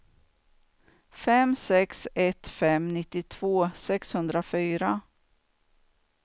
fem sex ett fem nittiotvå sexhundrafyra